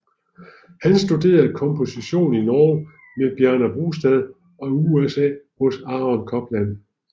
Han studerede komposition i Norge med Bjarne Brustad og i USA hos Aaron Copland